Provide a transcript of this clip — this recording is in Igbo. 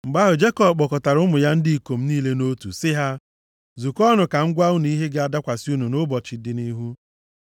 Mgbe ahụ, Jekọb kpọkọtara ụmụ ya ndị ikom niile nʼotu sị ha, “Zukọọnụ ka m gwa unu ihe ga-adakwasị unu nʼụbọchị dị nʼihu.